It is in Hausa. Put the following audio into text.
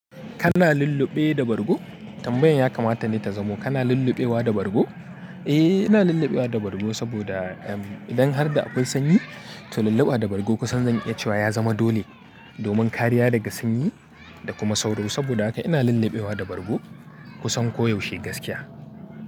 Kana lulluɓe da bargo? Tambayan ya kamata ni ta zamo kana lulluɓewa da bargo? Eh, ina lulluɓewa da bargo saboda idan har da akwai sanyi to lulluɓa da bargo kusan zan iya cewa ya zama dole domin kariya daga sanyi da kuma sauro. Saboda haka ina lulluɓewa da bargo kusan koyaushe gaskiya.